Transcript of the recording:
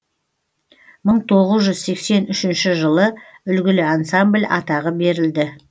мың тоғыз жүз сексен үшінші жылы үлгілі ансамбль атағы берілді